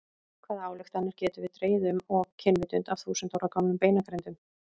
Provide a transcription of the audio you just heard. Hvaða ályktanir getum við dregið um og kynvitund af þúsund ára gömlum beinagrindum?